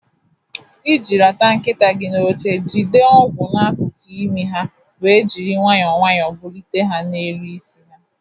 Iji rata nkịta gị n'oche, jide ọgwụ n'akụkụ imi ha wee jiri nwayọọ nwayọọ bulite ya n'elu isi ha.